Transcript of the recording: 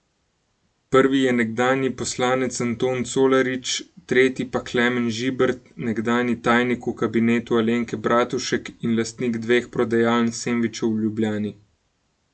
Prvi je nekdanji poslanec Anton Colarič, tretji pa Klemen Žibert, nekdanji tajnik v kabinetu Alenke Bratušek in lastnik dveh prodajaln sendvičev v Ljubljani.